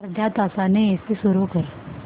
अर्ध्या तासाने एसी सुरू कर